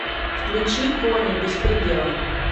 включи кони беспредела